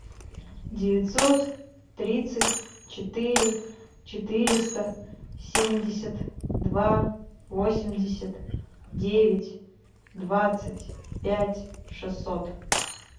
девятьсот тридцать четыре четыреста семьдесят два восемьдесят девять двадцать пять шестьсот